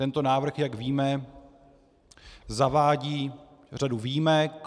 Tento návrh, jak víme, zavádí řadu výjimek.